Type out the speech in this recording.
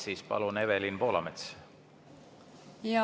Siis palun, Evelin Poolamets!